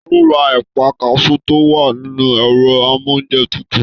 Taló rà ẹpa kasú to wà nínú ẹrọ amounjẹ tútù?